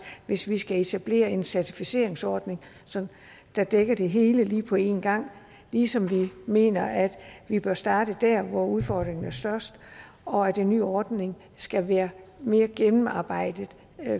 hvis vi skal etablere en certificeringsordning der dækker det hele på en gang ligesom vi mener at vi bør starte der hvor udfordringen er størst og at en ny ordning skal være mere gennemarbejdet